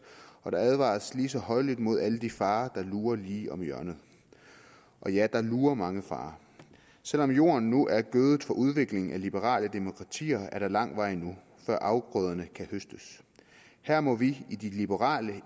og der advares lige så højlydt mod alle de farer der lurer lige om hjørnet og ja der lurer mange farer selv om jorden nu er gødet for udvikling af liberale demokratier er der lang vej endnu før afgrøderne kan høstes her må vi i de liberale